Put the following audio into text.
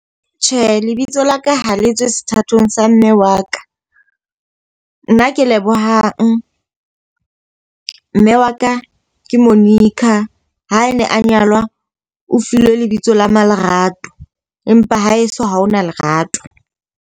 Tjhe, lebitso la ka ha le tswe sethatong sa mme wa ka. Nna ke Lebohang, mme wa ka ke Monica. Ha ne a nyalwa o filwe lebitso la ma-Lerato empa ha e so ha hona Lerato.